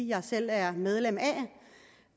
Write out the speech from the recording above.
jeg selv er medlem